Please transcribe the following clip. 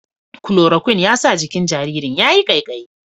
Kulorokwin ya sa jikin jaririn ya yi ƙaiƙayi.